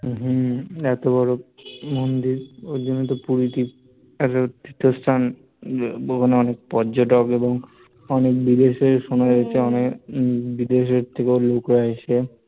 হম এত বড় মন্দির এজন্যই তো পুরীতে তীর্থস্থান ওখানে অনেক পর্যটক এবং অনেক বিদেশে সুনাম রয়েছে অনেক, বিদেশের থেকে ও লোক রা আসে